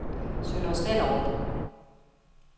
Sønder Stenderup